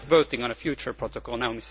We are not voting on a future protocol now